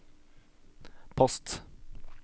post